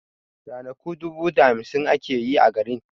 Ranaku dubu da hamsin ake yi a garin